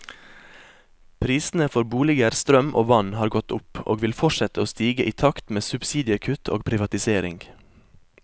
Prisene for boliger, strøm og vann har gått opp, og vil fortsette å stige i takt med subsidiekutt og privatisering.